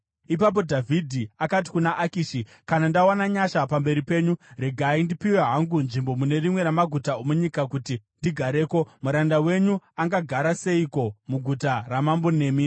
Ipapo Dhavhidhi akati kuna Akishi, “Kana ndawana nyasha pamberi penyu, regai ndipiwe hangu nzvimbo mune rimwe ramaguta omunyika kuti ndigareko. Muranda wenyu angagara seiko muguta ramambo nemi?”